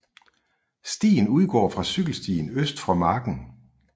Stien udgår fra cykelstien øst for marken